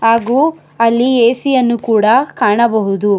ಹಾಗು ಅಲ್ಲಿ ಎ_ಸಿ ಯನ್ನು ಕೂಡ ಕಾಣಬಹುದು.